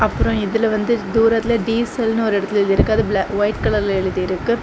அப்ரோ இதுல வந்து தூரத்துல டீசல்னு ஒரு எடத்துல எழுதியிருக்கு அது பிளா ஒயிட் கலர்ல எழுதியிருக்கு.